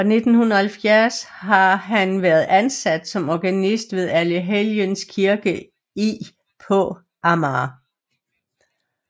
Fra 1970 har han været ansat som organist ved Allehelgens Kirke i på Amager